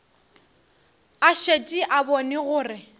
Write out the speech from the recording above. a šetše a bone gore